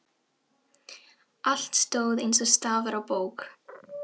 Allt stóð eins og stafur á bók.